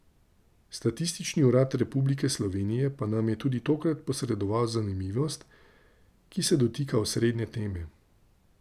Statistični urad Republike Slovenije pa nam je tudi tokrat posredoval zanimivost, ki se dotika osrednje teme.